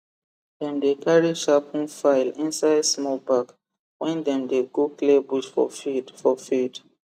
dem dey carry sharpen file inside small bag when dem dey go clear bush for field for field